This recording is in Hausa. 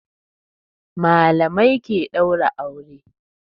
Malamai ke daura aure.